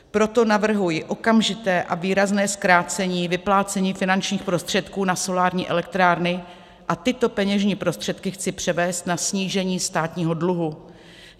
Proto navrhuji okamžité a výrazné zkrácení vyplácení finančních prostředků na solární elektrárny a tyto peněžní prostředky chci převést na snížení státního dluhu.